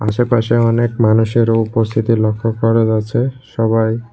আশেপাশে অনেক মানুষেরও উপস্থিতি লক্ষ্য করা গেছে সবাই--